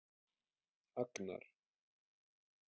Agnar